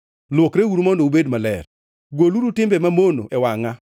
Lwokreuru mondo ubed maler. Goluru timbeu mamono e wangʼa!